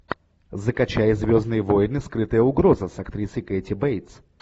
закачай звездные войны скрытая угроза с актрисой кэти бейтс